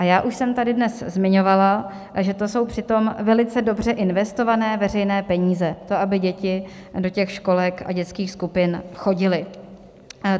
A já už jsem tady dnes zmiňovala, že to jsou přitom velice dobře investované veřejné peníze, to, aby děti do těch školek a dětských skupin chodily.